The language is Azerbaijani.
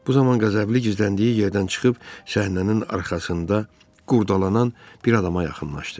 Bu zaman Qəzəbli gizləndiyi yerdən çıxıb səhnənin arxasında qurdalanan bir adama yaxınlaşdı.